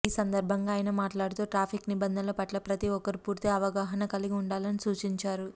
ఈ సందర్భంగా ఆయన మాట్లాడుతూ ట్రాఫిక్ నిబంధనల పట్ల ప్రతీ ఒక్కరు పూర్తి అవగాహన కలిగి ఉండాలని సూచించారు